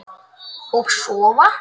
Og sofa.